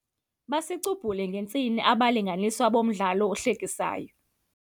Basicubhule ngentsini abalinganiswa bomdlalo ohlekisayo.